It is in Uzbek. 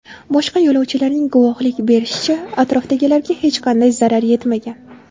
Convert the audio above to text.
Boshqa yo‘lovchilarning guvohlik berishicha, atrofdagilarga hech qanday zarar yetmagan.